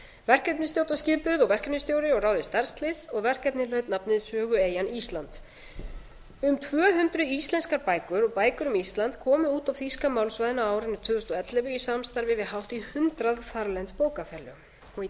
verkefnisstjórn var skipuð og verkefnisstjóri og ráðið starfslið og verkefnið hlaut nafnið sögueyjan ísland um tvö hundruð íslenskar bækur og bækur um ísland komu út á þýska málsvæðinu á árinu tvö þúsund og ellefu í samstarfi við hátt í hundrað þarlend bókafélög og í